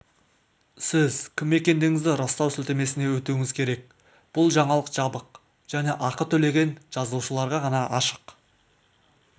сіз кім екендігіңізді растау сілтемесіне өтуіңіз керек бұл жаңалық жабық және ақы төлеген жазылушыларға ғана ашық